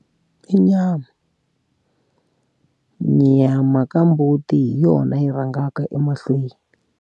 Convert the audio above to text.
I nyama nyama ka mbuti hi yona yi rhangaka emahlweni.